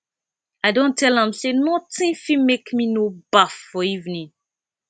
i don tell am sey notin fit make me no baff for evening